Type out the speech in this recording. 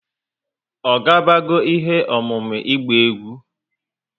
O ga bago ihe ọmụmụ ịgba egwú?